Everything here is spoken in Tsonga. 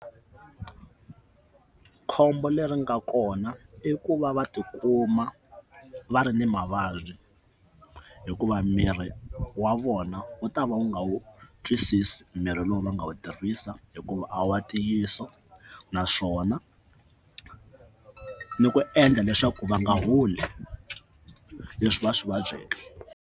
Khombo leri nga kona i ku va va tikuma va ri ni mavabyi hikuva miri wa vona wu ta va wu nga wu twisisi mirhi lowu va nga wu tirhisa hikuva a wa ntiyiso naswona ni ku endla leswaku va nga holi leswi va swi vabyeke.